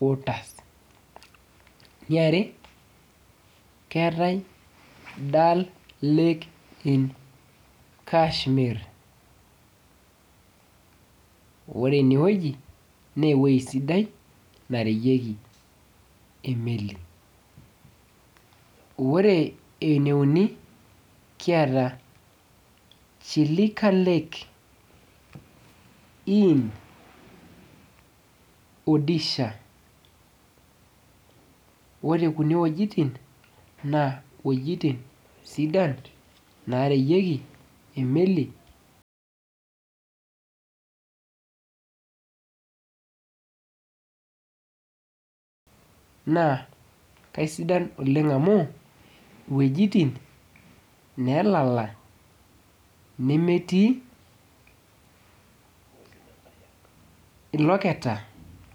waters. Eniare, keetae Dal lake in Kashmir. Ore enewoji, newoi sidai nareyieki emeli. Ore eneuni, keetaa Chilika lake in Odisha. Ore kume wojiting, naa wojiting sidan nareyieki emeli, naa kasidan oleng amu, wojiting nelala nemetii iloketa